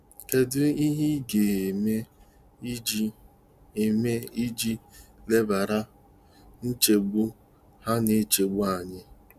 Kedu ihe ị ga - eme iji - eme iji lebara nchegbu ha na echegbu anya?